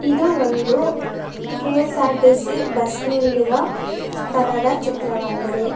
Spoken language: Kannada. ಇದು ಒಂದು ಕೆ_ಎಸ್_ಆರ್_ಟಿ_ಸಿ ಬಸ್ ನಿಲ್ಲುವ ಸ್ಥಳದ ಚಿತ್ರವಾಗಿದೆ.